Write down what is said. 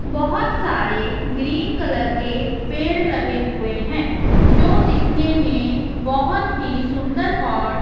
बहोत सारे green colour के पेंड़ लगे हुए हैं जो दिखने में बहोत ही सुंदर और--